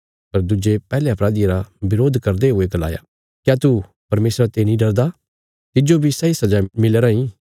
पर दुज्जे पैहले अपराधिये रा बरोध करदे हुये गलाया क्या तू परमेशरा ते नीं डरदा तिज्जो बी सैई सजा मिली राईं